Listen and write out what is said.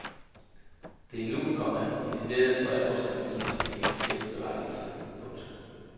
Det er nu, komma ministeriet for alvor skal bevise sin eksistensberettigelse. punktum